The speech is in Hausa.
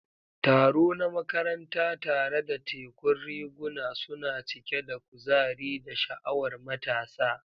Taro na makaranta, tare da tekun riguna, suna cike da kuzari da sha'awar matasa.